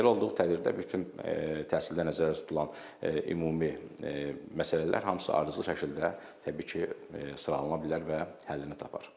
Belə olduğu təqdirdə bütün təhsildə nəzərdə tutulan ümumi məsələlər hamısı ardıcıl şəkildə təbii ki sıralana bilər və həllini tapar.